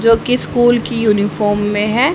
जो की स्कूल की यूनिफॉर्म में है।